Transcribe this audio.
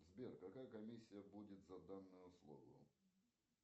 сбер какая комиссия будет за данную услугу